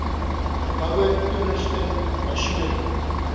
geboue toerusting masjinerie